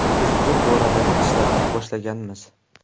Biz bu boradagi ishlarni boshlaganmiz.